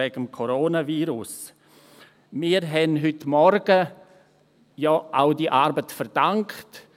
Wir haben diese Arbeit heute Morgen ja auch verdankt.